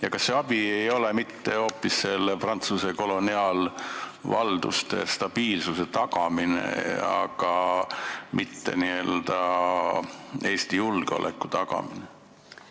Ja kas see abi ei tähenda hoopis stabiilsuse tagamist Prantsuse koloniaalvaldustes, mitte Eesti julgeoleku tagamist?